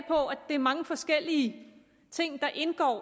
det er mange forskellige ting der indgår i